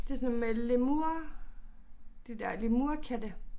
Det sådan noget med lemurer de der lemurkatte